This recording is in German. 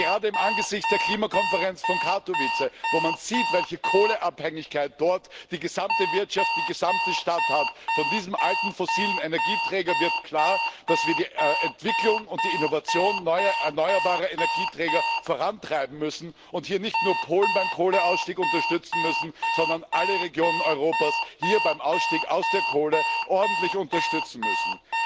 Aber gerade im Angesicht der Klimakonferenz von Katowice wo man sieht, welche Kohleabhängigkeit dort die gesamte Wirtschaft, die gesamte Stadt hat von diesem alten fossilen Energieträger wird klar, dass wir die Entwicklung und die Innovation erneuerbarer Energieträger vorantreiben müssen, und dass wir hier nicht nur Polen beim Kohleausstieg unterstützen müssen, sondern alle Regionen Europas hier beim Ausstieg aus der Kohle ordentlich unterstützen müssen.